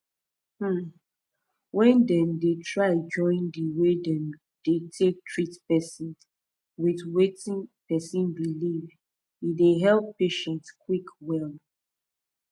um wen dem dey try join the way them take dey treat person with wetin person believe e dey help patient quick well